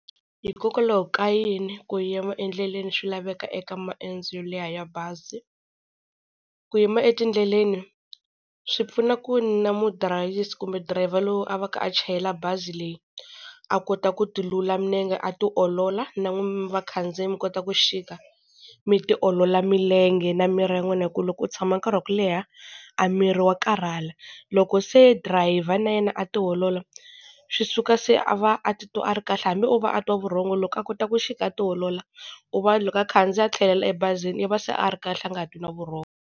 Hikokwalaho ka yini ku yima endlele ni swi laveka eka maendzo mo leha ya bazi? Ku yima etindleleni swi pfuna ku na mudirayisi kumbe dirayivha lowu a va ka a chayela bazi leyi a kota ku tilula milenge a ti olola na n'wina vakhandziyi mi kota ku xika mi tiolola milenge na miri ya n'wina, hi ku loko u tshama nkarhi wa ku leha, a miri wa karhala. Loko se dirayivha na yena a ti olola swi suka se a va a titwa a ri kahle, hambi o va a twa vurhongo loko a kota ku xika a ti olola u va loko a khandziya a tlhelela ebazini i va se a ri kahle a nga twi na vurhongo.